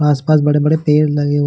आस-पास बड़े-बड़े पेड़ लगे--